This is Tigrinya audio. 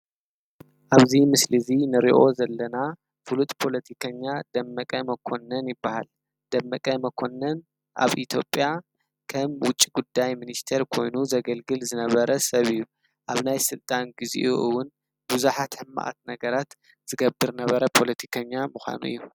ኣብዚ ምስሊ እዙይ ንሪኦ ዘለና ፉሉጥ ፖሎቲከኛ ደመቀ መኮነን ይበሃል ፡፡ደመቀ መኮነን ኣብ ኢትዮጰያ ከም ዉጪ ጉዳይ ምኒስተር ኮይኑ ዘገልግል ዝነበረ ሰብ እዩ፡፡ ኣብ ናይ ስልጣን ግዚኡ እዉን ቡዝሓት ሕማቃት ነገራት ዝገብር ዝነበረ ፖሎቲከኛ ምዃኑ እዩ፡፡